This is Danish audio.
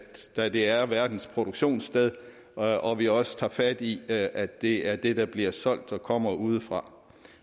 da det er verdens produktionssted og og vi også tager fat i at at det er det der bliver solgt der kommer udefra